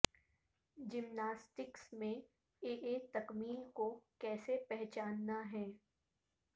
gymnastics میں اے اے تکمیل کو کیسے پہچاننا ہے